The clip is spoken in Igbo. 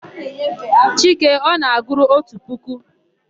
Chike ọ na-agụru otu puku?